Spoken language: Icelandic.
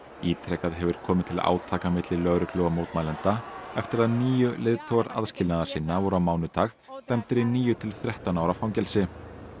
ítrekað hefur komið til átaka milli lögreglu og mótmælenda eftir að níu leiðtogar aðskilnaðarsinna voru á mánudag dæmdir í níu til þrettán ára fangelsi